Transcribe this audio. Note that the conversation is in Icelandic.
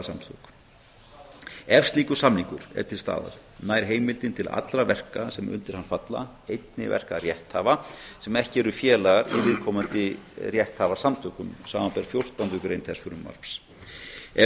rétthafasamtök ef slíkur samningur er til staðar nær heimildin til allra verka sem undir hann falla einnig verka rétthafa sem ekki eru félagar í viðkomandi rétthafasamtökum samanber fjórtándu grein þess frumvarps ef